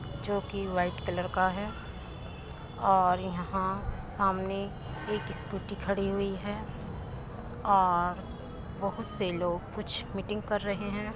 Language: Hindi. जो कि वाइट कलर का है और यहाँ सामने एक स्कूटी खड़ी हुई है और बहुत से लोग कुछ मीटिंग कर रहे है।